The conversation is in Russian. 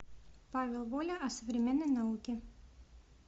павел воля о современной науке